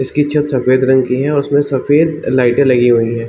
इसकी छत सफ़ेद रंग की हैं उसमे सफ़ेद लाइटें लगी हुई हैं ।